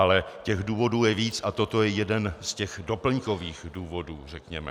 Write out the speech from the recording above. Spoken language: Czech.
Ale těch důvodů je víc a toto je jeden z těch doplňkových důvodů, řekněme.